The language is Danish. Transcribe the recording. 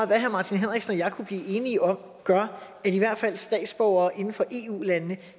hvad herre martin henriksen og jeg kunne blive enige om gør at i hvert fald statsborgere inden for eu landene